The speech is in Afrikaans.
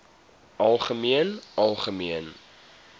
algemeen algemeen